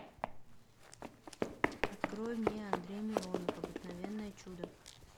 открой мне андрей миронов обыкновенное чудо